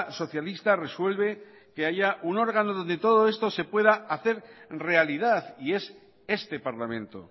socialista resuelve que haya un órgano donde todo esto se pueda hacer realidad y es este parlamento